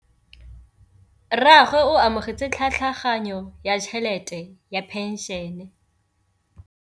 Rragwe o amogetse tlhatlhaganyô ya tšhelête ya phenšene.